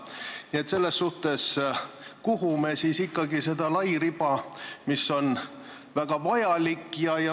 Nii et kuhu me siis ikkagi ehitame seda lairiba, mis on väga vajalik?